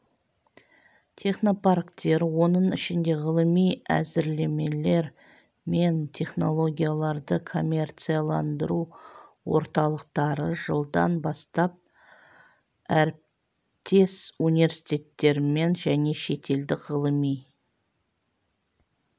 технопарктер оның ішінде ғылыми әзірлемелер мен технологияларды коммерцияландыру орталықтары жылдан бастап әріптес университеттермен және шетелдік ғылыми